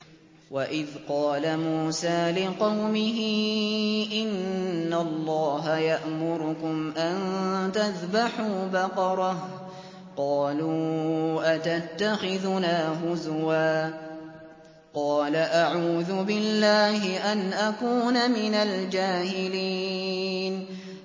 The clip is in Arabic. وَإِذْ قَالَ مُوسَىٰ لِقَوْمِهِ إِنَّ اللَّهَ يَأْمُرُكُمْ أَن تَذْبَحُوا بَقَرَةً ۖ قَالُوا أَتَتَّخِذُنَا هُزُوًا ۖ قَالَ أَعُوذُ بِاللَّهِ أَنْ أَكُونَ مِنَ الْجَاهِلِينَ